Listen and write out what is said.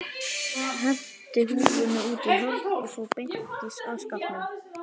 Henti húfunni út í horn og fór beint að skápnum.